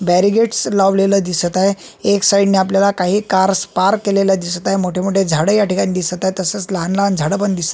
Bihari gates लावलेले दिसत आहेत एक साईड न आपल्याला काही कार्स पार्क केलेल्या दिसत आहे मोठे मोठे झाड याठिकाणी दिसत आहे तसेच लहान लहान झाड पण दिसत --